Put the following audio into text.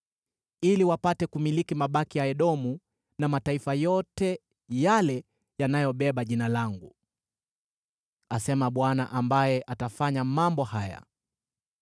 ili wapate kuyamiliki mabaki ya Edomu, na mataifa yote yale yanayobeba Jina langu,” asema Bwana ambaye atafanya mambo haya.